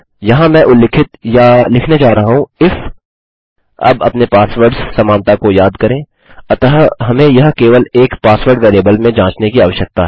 यहाँ मैं उल्लिखित या लिखने जा रहा हूँ इफ अब अपने पासवर्ड्स समानता को याद करें अतः हमें यह केवल एक पासवर्ड वेरिएबल में जाँचने की आवश्यकता है